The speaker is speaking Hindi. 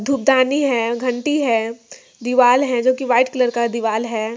धुलदानी है घंटी है दीवाल है जो के वाइट कलर का दीवाल है।